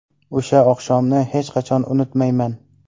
O‘sha oqshomni hech qachon unutmayman.